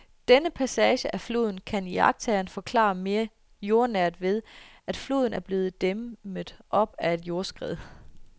Denne passage af floden kan iagttageren forklare mere jordnært ved, at floden er blevet dæmmet op af et jordskred.